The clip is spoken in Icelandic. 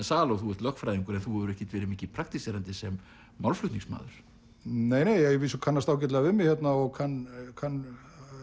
sal og ert lögfræðingur en þú hefur ekkert verið mikið praktíserandi sem málflutningsmaður nei að vísu ég kannast ágætlega við mig hérna og kann kann